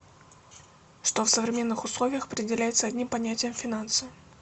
что в современных условиях определяется одним понятием финансы